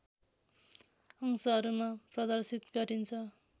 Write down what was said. अंशहरूमा प्रदर्शित गरिन्छ